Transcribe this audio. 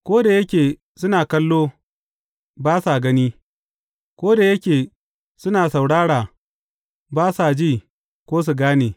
Ko da yake suna kallo, ba sa gani; ko da yake suna saurara, ba sa ji ko su gane.